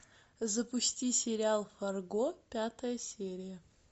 запусти сериал фарго пятая серия